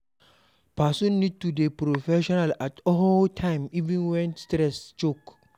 Person need to dey professional at all time even when stress choke